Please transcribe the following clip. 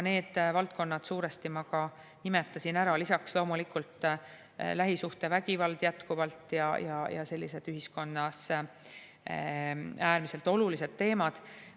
Need valdkonnad suuresti ma nimetasin ära, lisaks loomulikult jätkuvalt lähisuhtevägivald ja sellised ühiskonnas äärmiselt olulised teemad.